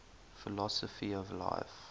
philosophy of life